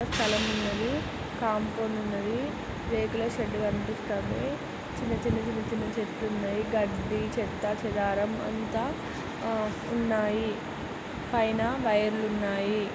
అక్కడ స్థలం ఉన్నది కాంపౌండ్ ఉన్నది రేకుల షెడ్ కనిపిస్తుంది చిన్న చిన్న చిన్న చెట్లు ఉన్నాయి గడ్డి చెత్త చెదారం అంత ఉన్నాయి పైన వైర్ లు ఉన్నాయి.